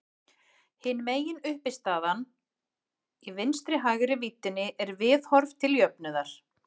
Hin meginuppistaðan í vinstri-hægri víddinni er viðhorf til jöfnuðar.